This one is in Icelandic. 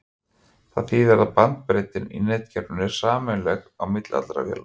það þýðir að bandbreiddin í netkerfinu er sameiginleg á milli allra véla